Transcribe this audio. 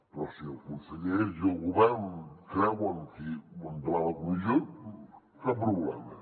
però si els consellers i el govern creuen que endavant la comissió cap problema